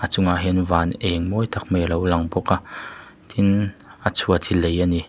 a chungah hian van eng mawi tak mai alo lang bawk a tin a chhuat hi lei ani.